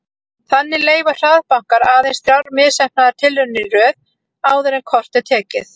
Þannig leyfa hraðbankar aðeins þrjár misheppnaðar tilraunir í röð áður en kort er tekið.